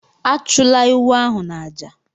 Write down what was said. Achụla ewu ahụ n'àjà!